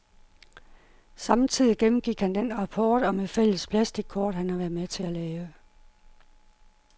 Samtidig gennemgik han den rapport om et fælles plastickort, han har været med til at lave.